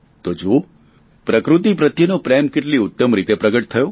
તે જુઓ પ્રકૃતિ પ્રત્યેને પ્રેમ કેટલી ઉત્તમ રીતે પ્રગટ થયો